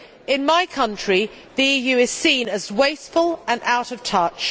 In my country, the EU is seen as wasteful and out of touch.